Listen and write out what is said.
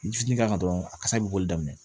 Fitinin k'a kan dɔrɔn a kasa bɛ boli daminɛ